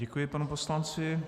Děkuji panu poslanci.